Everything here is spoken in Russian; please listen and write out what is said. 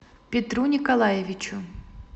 петру николаевичу